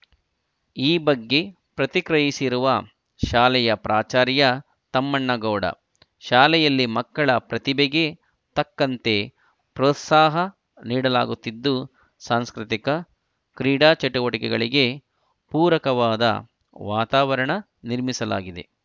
ಈ ಬಗ್ಗೆ ಪ್ರತಿಕ್ರಿಯಿಸಿರುವ ಶಾಲೆಯ ಪ್ರಾಚಾರ್ಯ ತಮ್ಮಣ್ಣಗೌಡ ಶಾಲೆಯಲ್ಲಿ ಮಕ್ಕಳ ಪ್ರತಿಭೆಗೆ ತಕ್ಕಂತೆ ಪ್ರೋತ್ಸಾಹ ನೀಡಲಾಗುತ್ತಿದ್ದು ಸಾಂಸ್ಕೃತಿಕ ಕ್ರೀಡಾ ಚಟುವಟಿಕೆಗಳಿಗೆ ಪೂರಕವಾದ ವಾತಾವರಣ ನಿರ್ಮಿಸಲಾಗಿದೆ